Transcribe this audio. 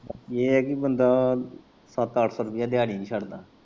ਏ ਐ ਕਿ ਬੰਦਾ ਸੱਤ ਅੱਠ ਸੋ ਰੁਪਏ ਦਿਆੜੀ ਨੀ ਛੱਡਦਾ।